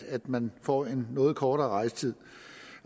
man får en noget kortere rejsetid